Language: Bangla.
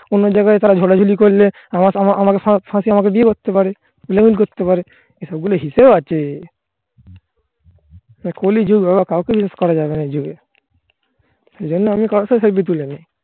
জানি যে আমাদের সম্পর্ক শেষ হয়ে গেলো অন্য জায়গায় তারা ঝগড়াঝাটি করলে আমাকে ফাঁকি আমাকে বিয়ে করতে পারে আতা কলি যূক